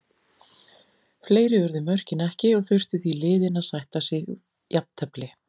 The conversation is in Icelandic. Fleiri urðu mörkin ekki og þurftu því liðin að sætta sig jafntefli.